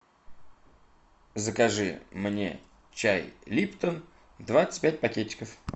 закажи мне чай липтон двадцать пять пакетиков